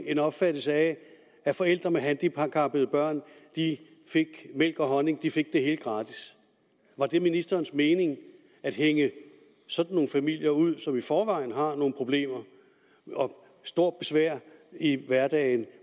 en opfattelse af at forældre med handicappede børn fik mælk og honning at de fik det hele gratis var det ministerens mening at hænge sådan nogle familier ud som i forvejen har problemer og stort besvær i hverdagen